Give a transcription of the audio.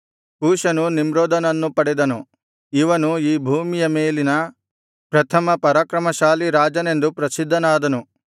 ಕೂಷನು ನಿಮ್ರೋದನನ್ನು ಪಡೆದನು ಇವನು ಈ ಭೂಮಿಯ ಮೇಲಿನ ಪ್ರಥಮ ಪರಾಕ್ರಮಶಾಲಿ ರಾಜನೆಂದು ಪ್ರಸಿದ್ಧನಾದನು